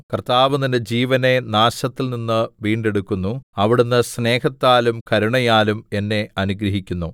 കർത്താവ് നിന്റെ ജീവനെ നാശത്തിൽനിന്ന് വീണ്ടെടുക്കുന്നു അവിടുന്ന് സ്നേഹത്താലും കരുണയാലും എന്നെ അനുഗ്രഹിക്കുന്നു